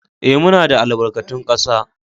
Ee, muna da albarkatun kasa